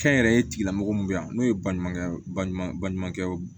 Kɛnyɛrɛye tigilamɔgɔ mun bɛ yan n'o ye baɲumankɛ baɲumankɛw ye